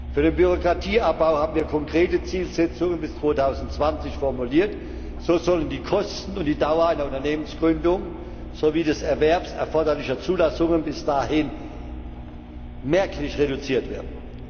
Für den Bürokratieabbau haben wir konkrete Zielsetzungen bis 2020 formuliert So sollen die Kosten und die Dauer einer Unternehmensgründung sowie des Erwerbs erforderlicher Zulassungen bis dahin merklich reduziert werden.